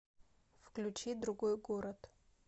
включи другой город